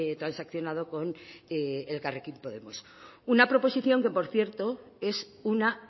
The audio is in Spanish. transaccionado con elkarrekin podemos una proposición que por cierto es una